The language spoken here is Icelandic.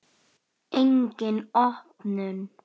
Engin opnun.